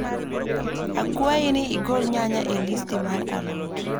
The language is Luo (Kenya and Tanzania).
Akwayi ni igol nyanya e listi mar a lot